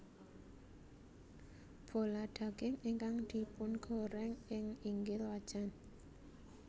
Bola daging ingkang dipungoreng ing inggil wajan